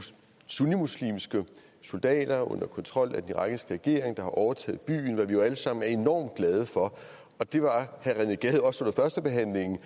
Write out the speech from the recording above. sunnimuslimske soldater under kontrol af den irakiske regering der har overtaget byen hvad vi jo alle sammen er enormt glade for og det var herre rené gade også under førstebehandlingen